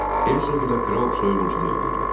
Hersoq ilə kral soyğunçuluq eləyirlər.